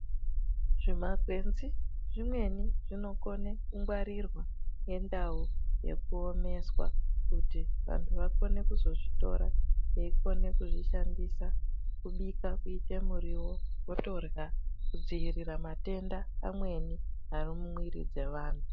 Zimakwenzi zvimweni zvinokone kungwarirwa ngendau yekuomeswa kuti vantu vakone kuzozvitora veikona kuzvishandisa kubika voite muriwo votorya kudziirira matenda mamweni ari muviri dzevanhu.